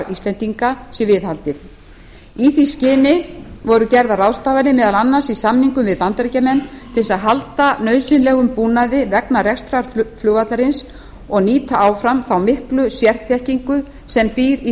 íslendinga sé viðhaldið í því skyni voru gerðar ráðstafanir meðal annars í samningum við bandaríkjamenn til að halda nauðsynlegum búnaði vegna rekstrar flugvallarins og nýta áfram þá miklu sérþekkingu sem býr í